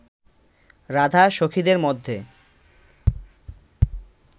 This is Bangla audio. রাধা সখীদের মধ্যে